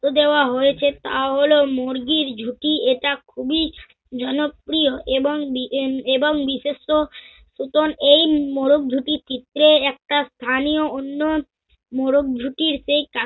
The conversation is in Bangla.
গুরুত্ত্ব দেওয়া হয়েছে তা হল মুরগির ঝুটি এটা খুবই জনপ্রিয় এবং বিএন~ এবং বিশিষ্ট নতুন এই মোরগ ঝুটির চিত্রে একটা স্থানীয় অন্য মোরগ ঝুটির সেই কা~